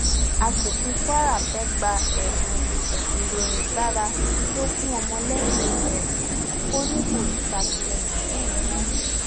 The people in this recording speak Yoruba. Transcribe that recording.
aṣòfin kwara fẹẹ gba ẹbùn ìrónígbára tó fún ọmọlẹyìn ẹ ò ní kó ṣàtìlẹyìn fóun mọ